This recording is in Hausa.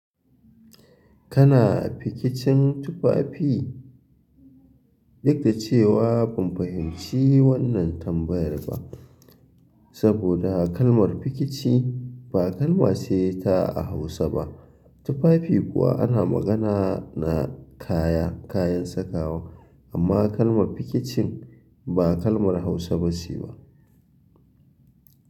Kana a pikicin tufafi? Duk da cewa ban fahimci wannan tambayar ba, saboda kalmar pikici ba kalma ce ta Hausa ba. Tufafi kuma ana magana ne na kaya, kayan sakawa amma kalmar fikici ba kalmar hausa ce ba.